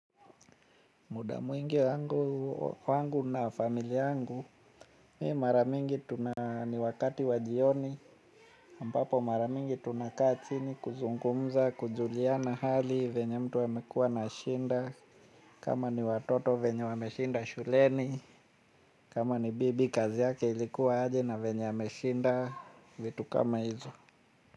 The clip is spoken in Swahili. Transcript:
Muda mwingi wangu na familia yangu, mi mara mingi tuna ni wakati wa jioni, ambapo mara mingi tunakaa chini kuzungumza, kujuliana hali, venye mtu amekua anashinda, kama ni watoto venye wameshinda shuleni, kama ni bibi kazi yake ilikuwa aje na venye ameshinda, vitu kama hizo.